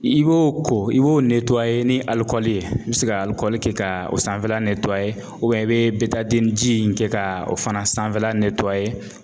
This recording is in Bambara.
I b'o ko i b'o ni alikɔli ye i bi se ka alikɔli kɛ ka o sanfɛla i bɛ betadiniji in kɛ ka o fana sanfɛla ,